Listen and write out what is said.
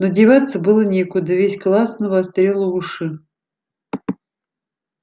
но деваться было некуда весь класс навострил уши